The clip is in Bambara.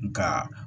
Nka